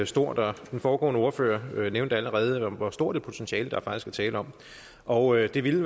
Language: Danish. stort og den foregående ordfører nævnte allerede hvor stort et potentiale der faktisk er tale om og det ville